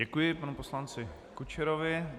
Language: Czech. Děkuji panu poslanci Kučerovi.